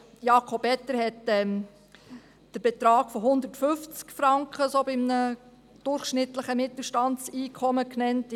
Also: Jakob Etter hat den Betrag von 150 Franken bei einem durchschnittlichen Mittelstandseinkommen genannt;